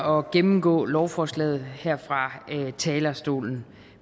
og gennemgå lovforslaget her fra talerstolen